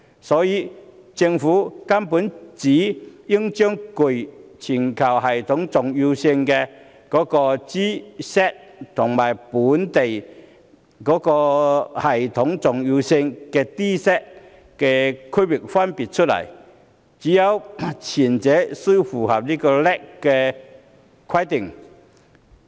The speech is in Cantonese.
所以，政府根本應該把具全球系統重要性銀行和具本地系統重要性銀行區分出來，只有前者才須符合 LAC 的規定。